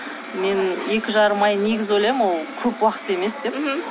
мен екі жарым ай негізі ойлаймын ол көп уақыт емес деп мхм